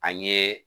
An ye